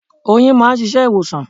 Oyin máà ń ṣiṣẹ́ ìwòsàn.